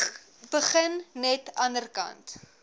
begin net anderkant